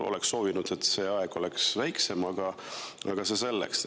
Oleks soovinud, et see aeg oleks lühem, aga see selleks.